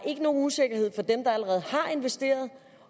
nogen usikkerhed for dem der allerede har investeret